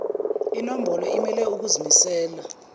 nombolo imele ukuzimisela